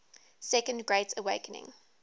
second great awakening